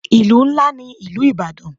Ìlú ńlá ní ìlú ìbàdàn.